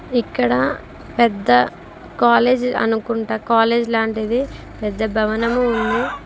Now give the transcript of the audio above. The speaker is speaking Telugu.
ఇక్కడ పెద్ద కాలేజీ అనుకుంట కాలేజ్ లాంటిది పెద్ద భవనము ఉంది.